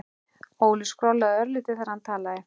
Óli skrollaði örlítið þegar hann talaði.